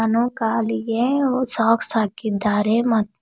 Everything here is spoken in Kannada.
ಅವನು ಕಾಲಿಗೆ ಸಾಕ್ಸ್ ಹಾಕಿದ್ದಾರೆ ಮತ್ತು--